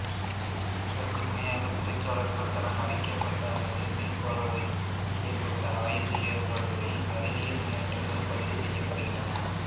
அதற்கு துணையாக துறைசார்களால் தரம் அறியப்பட்ட அல்லது மீள்பார்வை செய்யப்பட்ட ஆய்வு ஏடுகளில் அறிவியல் முன்னேற்றங்கள் பதிவுசெய்யப்படுகின்றன